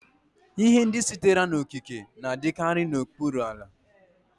Ihe ndị sitere n'okike na-adịkarị n'okpuru ala.